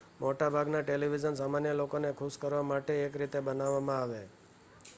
મોટા ભાગના ટેલિવિઝન સામાન્ય લોકોને ખુશ કરવા માટે એક રીતે બનાવવામાં આવે